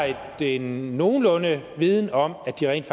en nogenlunde viden om at de rent